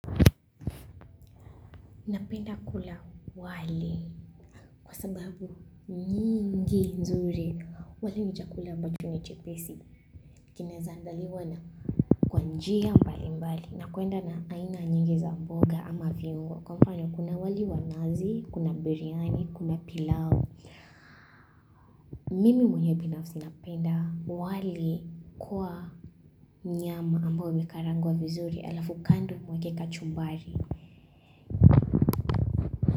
Napenda kula wali kwa sababu nyingi nzuri wali ni chakula ambacho ni chepesi kinaeza andaliwa na kwa njia mbali mbali na kuenda na aina nyingi za mboga ama viungo kwa mfano kuna wali wa nazi kuna biryani kuna pilau Mimi mwenye pinafusi napenda wali kwa nyama ambayo imekarangwa vizuri alafu kandu mweke kachumbari.